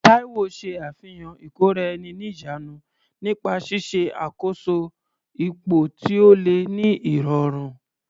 Taiwo ṣe àfihàn ìkóra-ẹni-níjàánu nípa ṣíṣe àkóso ipò tí ó le ní ìrọ̀rùn.